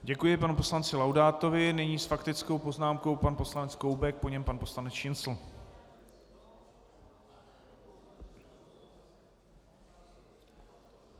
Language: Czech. Děkuji panu poslanci Laudátovi, nyní s faktickou poznámkou pan poslanec Koubek, po něm pan poslanec Šincl.